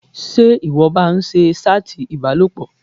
Ṣé ìwọ ń ba ń ṣe ṣátì ìbálòpọ̀?